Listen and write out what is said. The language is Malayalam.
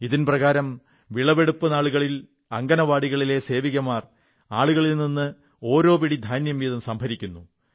ഇതിൻ പ്രകാരം വിളവെടുപ്പു നാളുകളിൽ അംഗനവാടികളിലെ സേവികമാർ ആളുകളിൽ നിന്ന് ഓരോ പിടി ധാന്യം വീതം സംഭരിക്കുന്നു